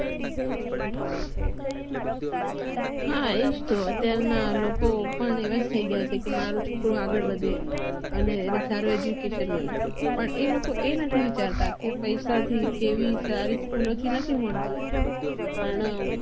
હા એજ અત્યાર ના લોકો અવાજ થઇ ગયા છે કે મારો છોકરો આગળ વધે અને એને સારું aduction મળે પણ લોકો એ નથી વિચારતા કે પૈસા થી કે સારી school થી નથી મળતું અને